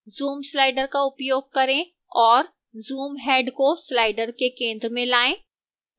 zoom slider का उपयोग करें और zoom head को slider के centre में लाएं